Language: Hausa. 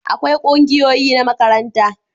akwai kungiyoyi na makaranta